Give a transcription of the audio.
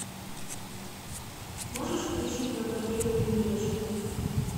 можешь включить на тв ювелирочка